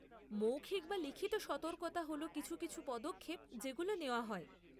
মৌখিক বা লিখিত সতর্কতা হল কিছু কিছু পদক্ষেপ যেগুলো নেওয়া হয়।